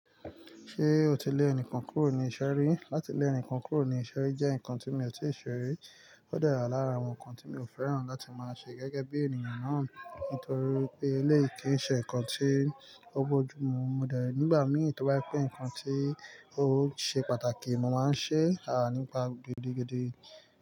Ṣé o ti lé ẹnìkan kúrò ní ìṣe ri? Látilẹ̀ ẹnìkan kúrò ní iṣẹ́ rí jẹ́ ǹkan tí mi ò tíì ṣe rí, ó de wa lára àwọn ǹkan tí mi ò fẹ́ràn láti máa ṣe gẹ́gẹ́ bí ènìyàn náà. Nítorí pé eléyìí ki n ṣe ǹkan tí ó bójú mu. Mo de nígbà mí tóbá je pe ǹkan tí ó ṣe pàtàkì, mo máa ń ṣe àà nípa gidiigidi.